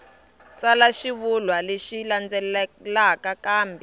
tsala xivulwa lexi landzelaka kambe